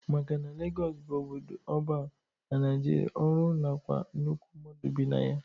Maka na Lagọs bụ obodo ọban na Nigeria, ọrụ nakwa nnukwu mmadụ bi na ya.